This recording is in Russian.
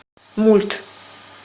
мульт